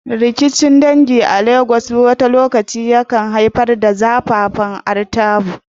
Rikicin dangi a Legas wani lokaci yakan haifar da zafafan artabu.